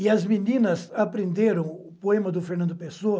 E as meninas aprenderam o poema do Fernando Pessoa,